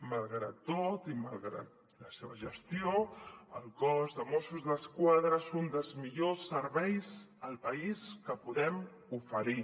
malgrat tot i malgrat la seva gestió el cos de mossos d’esquadra és un dels millors serveis al país que podem oferir